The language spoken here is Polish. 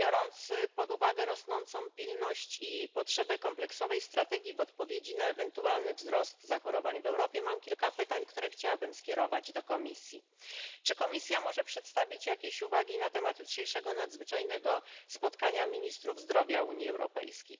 Biorąc pod uwagę rosnącą pilność i potrzebę kompleksowej strategii w odpowiedzi na ewentualny wzrost zachorowań w Europie, mam kilka pytań, które chciałabym skierować do Komisji. Czy Komisja może przedstawić jakieś uwagi na temat jutrzejszego nadzwyczajnego spotkania ministrów zdrowia Unii Europejskiej?